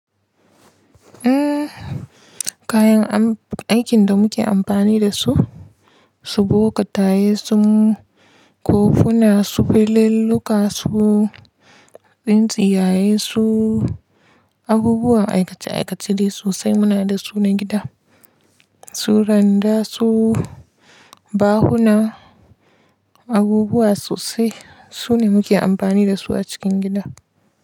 Eh, kayan aikin da muke amfani da su, su bokataye, su kofuna, su fililluka, su tsintsiyaye, su abubuwan aikace-aikace dai sosai muna da su na gida, su randa, su bahuna abubuwa sosai. Su ne muke amfani da su a cikin gida.